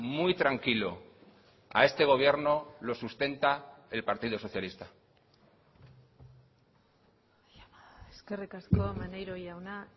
muy tranquilo a este gobierno los sustenta el partido socialista eskerrik asko maneiro jauna